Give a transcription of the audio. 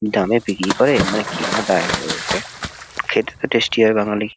দামে বিক্রি করে মানে কেনা দায় হয়ে ওঠে। খেতে তো টেস্টি হয় বাঙালি--